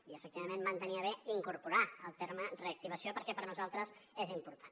i efectivament van tenir a bé incorporar el terme reactivació perquè per a nosaltres és important